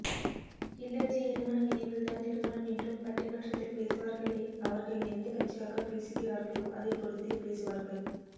கில்லர்ஜி இருமனம் இணைவதுதான் திருமணம் என்றும் பட்டி மன்றத்தில் பேசுவார்களே அவர்கள் எந்தக் கட்சிக்காகப் பேசுகிறார்களோ அதைப் பொறுத்ட்க்ஹு பேசுவார்கள்